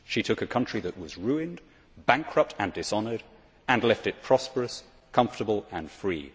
She took a country that was ruined, bankrupt and dishonoured and left it prosperous, comfortable and free.